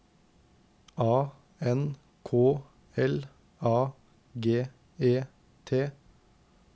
A N K L A G E T